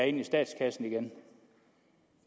ind i statskassen igen